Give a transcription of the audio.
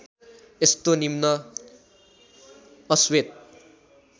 यस्तो निम्न अश्वेत